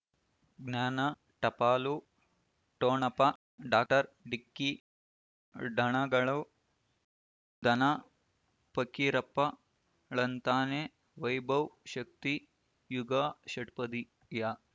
ಜ್ಞಾನ ಟಪಾಲು ಠೊಣಪ ಡಾಕ್ಟರ್ ಢಿಕ್ಕಿ ಡಣಗಳನು ಧನ ಫಕೀರಪ್ಪ ಳಂತಾನೆ ವೈಭವ್ ಶಕ್ತಿ ಝಗಾ ಷಟ್ಪದಿಯ